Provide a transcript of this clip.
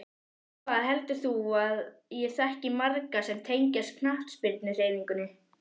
Hvað heldur þú að ég þekki marga sem tengjast knattspyrnuhreyfingunni?